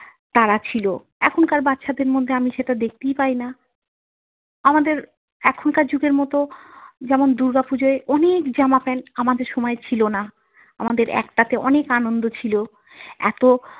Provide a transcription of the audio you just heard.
তাড়া ছিল। এখনকার বাচ্ছাদের মধ্যে আমি সেইটা দেখতেই পাই না। আমাদের এখনকার যুগের মত যেমন দুর্গা পুজোয় অনেক জামা প্যান্ট আমাদের সময়ে ছিল না, আমাদের একটাতে অনেক আনন্দ ছিল। এত।